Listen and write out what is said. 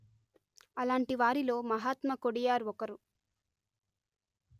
అలాంటి వారిలో మహాత్మ కొడియార్ ఒకరు